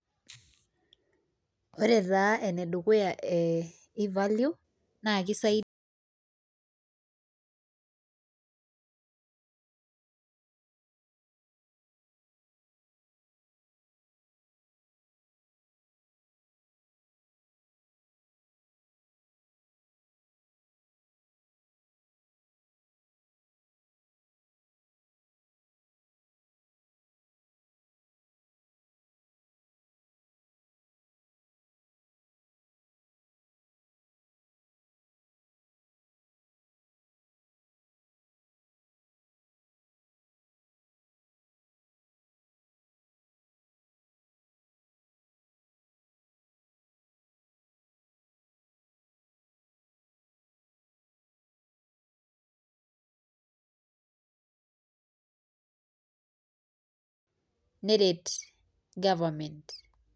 Ore taa enedukuya e e value neret nkera pookin